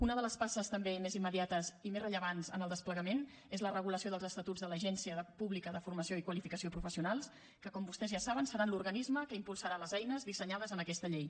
una de les passes també més immediates i més rellevants en el desplegament és la regulació dels estatuts de l’agència pública de formació i qualificació professionals que com vostès ja saben serà l’organisme que impulsarà les eines dissenyades en aquesta llei